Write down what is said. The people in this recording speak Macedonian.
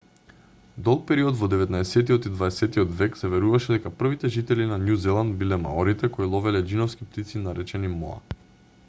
долг период во деветнаесеттиот и дваесеттиот век се веруваше дека првите жители на њу зеланд биле маорите кои ловеле џиновски птици наречени моа